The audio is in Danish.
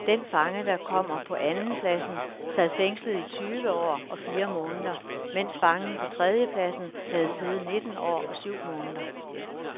Den fange, der kommer på andenpladsen sad fængslet i tyve år og fire måneder, mens fangen på tredjepladsen havde siddet nitten år og syv måneder.